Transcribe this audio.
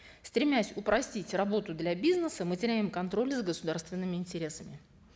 стремясь упростить работу для бизнеса мы теряем контроль за государственными интересами